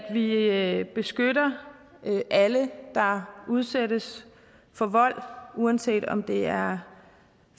vi beskytter alle der udsættes for vold uanset om det er